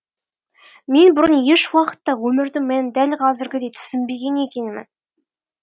мен бұрын еш уақытта өмірдің мәнін дәл қазіргідей түсінбеген екенмін